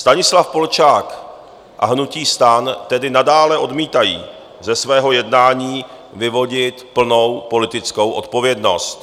Stanislav Polčák a hnutí STAN tedy nadále odmítají ze svého jednání vyvodit plnou politickou odpovědnost.